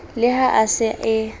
le ha a sa e